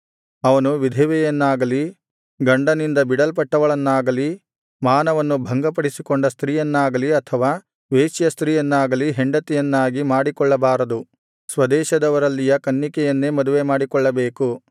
ಅವನು ವಿಧವೆಯನ್ನಾಗಲಿ ಗಂಡನಿಂದ ಬಿಡಲ್ಪಟ್ಟವಳನ್ನಾಗಲಿ ಮಾನವನ್ನು ಭಂಗಪಡಿಸಿಕೊಂಡ ಸ್ತ್ರೀಯನ್ನಾಗಲಿ ಅಥವಾ ವೇಶ್ಯ ಸ್ತ್ರೀಯನ್ನಾಗಲಿ ಹೆಂಡತಿಯನ್ನಾಗಿ ಮಾಡಿಕೊಳ್ಳಬಾರದು ಸ್ವದೇಶದವರಲ್ಲಿಯ ಕನ್ನಿಕೆಯನ್ನೇ ಮದುವೆ ಮಾಡಿಕೊಳ್ಳಬೇಕು